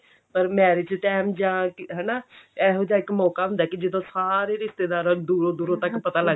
ਪਰ marriage time ਜਾਂ ਹਨਾ ਇਹੋ ਜਿਹਾ ਇੱਕ ਮੋਕਾ ਹੁੰਦਾ ਕਿ ਜਦੋਂ ਸਾਰੇ ਰਿਸ਼ਤੇਦਾਰਾਂ ਦੂਰੋਂ ਦੂਰੋਂ ਤੱਕ ਪਤਾ ਲੱਗ